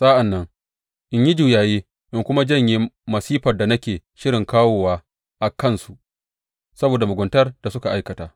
Sa’an nan in yi juyayi in kuma janye masifar da nake shirin kawo a kansu saboda muguntar da suka aikata.